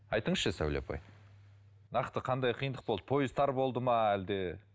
айтыңызшы сәуле апай нақты қандай қиындық болды пойыз тар болды ма әлде